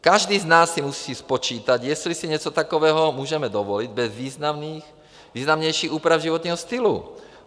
Každý z nás si musí spočítat, jestli si něco takového můžeme dovolit bez významnějších úprav životního stylu.